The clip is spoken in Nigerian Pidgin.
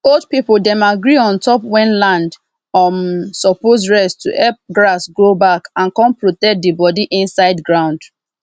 old people dem agree ontop wen land um suppose rest to hep grass grow back and con protect de bodi insid ground